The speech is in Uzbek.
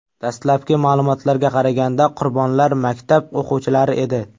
Dastlabki ma’lumotlarga qaraganda, qurbonlar maktab o‘quvchilari edi.